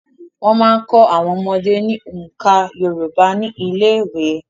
Wọ́n máa ń kọ́ àwọn ọmọdé ní oǹkà Yorùbá ní ilé ìwé.